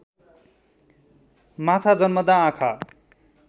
माछा जन्मँदा आँखा